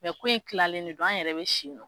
ko in lilalen ne don an yɛrɛ bɛ si nɔ.